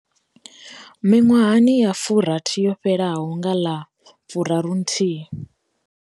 Miṅwahani ya furathi yo fhelaho, nga ḽa 31.